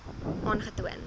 aangetoon